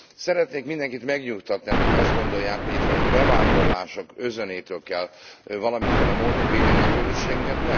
Szeretnék mindenkit megnyugtatni, akik azt gondolják, hogy itt valami bevándorlások özönétől kell valamiféle módon védeni a közösségünket.